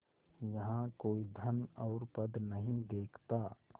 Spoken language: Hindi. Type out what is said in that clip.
यहाँ कोई धन और पद नहीं देखता